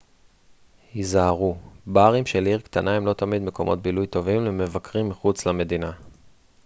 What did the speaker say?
היזהרו ברים של עיר קטנה הם לא תמיד מקומות בילוי טובים למבקרים מחוץ למדינה